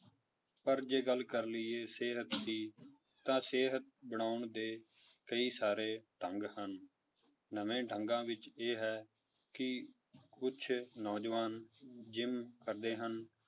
ਪਰ ਜੇ ਗੱਲ ਕਰ ਲਈਏ ਸਿਹਤ ਦੀ ਤਾਂ ਸਿਹਤ ਬਣਾਉਣ ਦੇ ਕਈ ਸਾਰੇ ਢੰਗ ਹਨ, ਨਵੇਂ ਢੰਗਾਂ ਵਿੱਚ ਇਹ ਹੈ ਕਿ ਕੁਛ ਨੌਜਵਾਨ ਜਿੰਮ ਕਰਦੇ ਹਨ,